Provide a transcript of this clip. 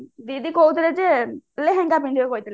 ଦିଦି କହୁଥିଲେ ଯେ ଲେହେଙ୍ଗା ପିନ୍ଧିବାକୁ କହିଥିଲେ